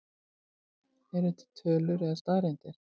Eru til tölur eða staðreyndir?